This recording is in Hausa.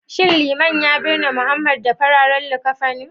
shin liman ya binne Mohammed da Fararen likafani?